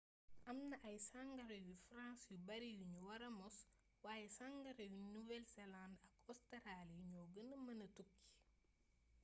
am na ay sangara yu france yu bari yuñu wara mos waaye sangara yu nouvelle zelande ak ostaraali ñoo gëna mëna tukki